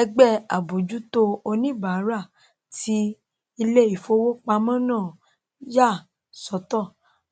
ẹgbẹ àbójútó oníbàárà tí iléìfowópamọ náà yà sọtọ